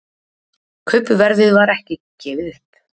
Kaupverðið var ekki gefið upp